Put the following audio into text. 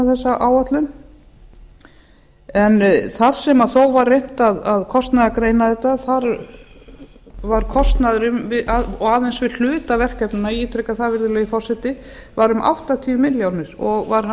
þessa áætlun en þar sem þó var reynt að kostnaðargreina þetta þá var kostnaður og aðeins við hluta verkefnanna ég ítreka það virðulegi forseti var um áttatíu milljónir og var hann